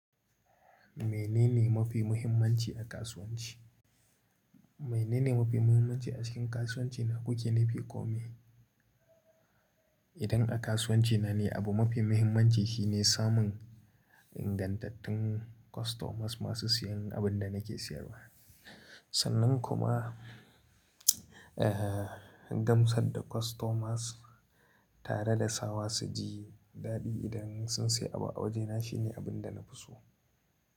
Menene mafi muhimmanci a kasuwanci? Menene mafi muhimmanci a cikin kasuwanci na, kuke nufi kome? Idan a kasuwanci na ne, abu mafi muhimmanci shine samun ingantattun customers masu siyan abin da nake siyarwa. Sannan kuma, eh, gamsar da customers tare da sawa su ji daɗi idan sun sayi abu a wajena shine abin da na fi so.